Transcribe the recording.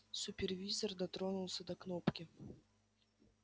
супервизор дотронулся до кнопки